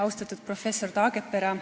Austatud professor Taagepera!